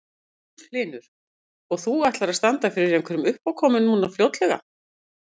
Magnús Hlynur: Og þú ætlar að standa fyrir einhverjum uppákomum núna fljótlega?